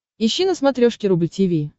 ищи на смотрешке рубль ти ви